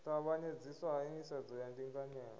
tavhanyedziswa ha nḓisedzo ya ndinganyelo